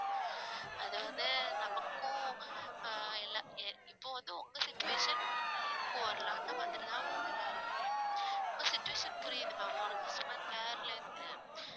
அது வந்து நமக்கும் ஆஹ் எல்லா எ~ இப்போ வந்து உங்க situation இன்னொருநாள் எனக்கும் வரலாம் அந்தமாதிரி தான் ma'am எல்லாருக்குமே உங்க situation புரியுது ma'am ஒரு customer care ல இருந்து